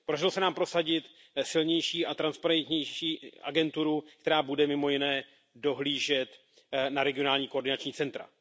Podařilo se nám prosadit silnější a transparentnější agenturu, která bude mimo jiné dohlížet na regionální koordinační centra.